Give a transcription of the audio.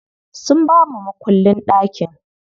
Sun bamu makullin ɗakin.